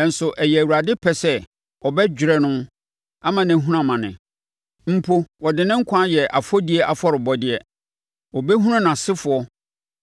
Nanso ɛyɛɛ Awurade pɛ sɛ ɔbɛdwerɛ no ama no ahunu amane. Mpo ɔde ne nkwa ayɛ afɔdie afɔrebɔdeɛ. Ɔbɛhunu nʼasefoɔ